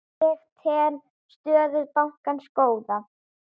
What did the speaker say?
Ég tel stöðu bankans góða.